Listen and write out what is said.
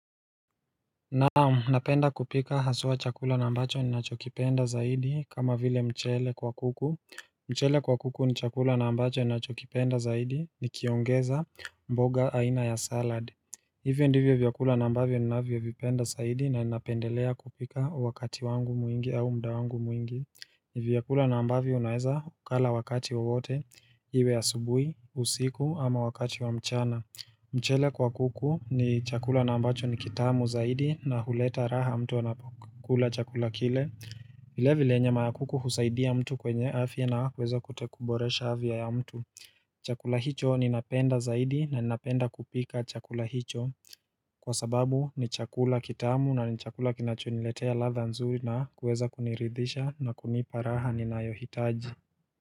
Na"am, napenda kupika haswa chakula na ambacho ninachokipenda zaidi kama vile mchele kwa kuku mchele kwa kuku ni chakula na ambacho ninachokipenda zaidi nikiongeza mboga aina ya salad. Hivyo ndivyo vyakula na ambavyo ninavyovipenda zaidi na ninapendelea kupika wakati wangu mwingi au muda wangu mwingi vyakula na ambavyo unaweza ukala wakati wowote iwe ya asubuhi, usiku ama wakati wa mchana. Mchele kwa kuku ni chakula na ambacho ni kitamu zaidi na huleta raha mtu anapokula chakula kile vile vile nyama ya kuku husaidia mtu kwenye afya na kuweza kuboresha afya ya mtu Chakula hicho ninapenda zaidi na ninapenda kupika chakula hicho kwa sababu ni chakula kitamu na ni chakula kinachoniletea ladha nzuri na kuweza kuniridhisha na kunipa raha ninayohitaji.